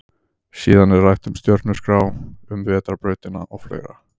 Síðan er rætt um stjörnuskrá, um vetrarbrautina og fleira.